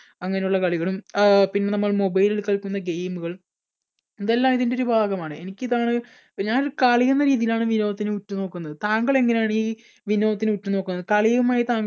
അങ്ങനെയുള്ള കളികളും അഹ് പിന്നെ നമ്മൾ mobile ൽ കളിക്കുന്ന game കൾ ഇതെല്ലാം ഇതിൻടൊരു ഒരു ഭാഗമാണ്. എനിക്ക് ഇതാണ് ഞാനൊരു കളി എന്ന രീതിയിലാണ് വിനോദത്തെ ഉറ്റു നോക്കുന്നത് താങ്കൾ എങ്ങനെയാണ് ഈ വിനോദത്തെ ഉറ്റുനോക്കുന്നത്? കളിയുമായി താങ്കൾ